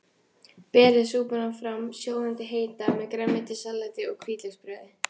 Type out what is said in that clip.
Berið súpuna fram sjóðandi heita með grænmetissalati og hvítlauksbrauði.